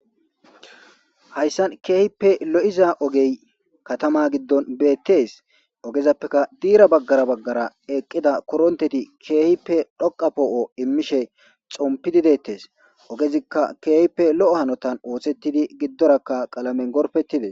Haysan kehipe loo'iza ogey katama giddon beetes. Ogezapeka dira bagara bagara eqida koronteti keehipe dhoqa poo'o imishe xoommpidi detes. Ogezika kehipe loo'o hanothan osethidi gidoraka qalamen gorpetides.